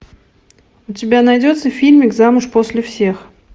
у тебя найдется фильмик замуж после всех